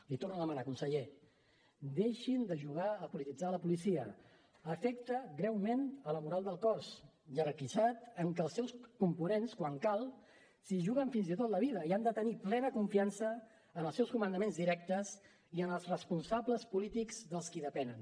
l’hi torno a demanar conseller deixin de jugar a polititzar la policia afecta greument la moral del cos jerarquitzat en que els seus components quan cal s’hi juguen fins i tot la vida i han de tenir plena confiança en els seus comandaments directes i en els responsables polítics dels qui depenen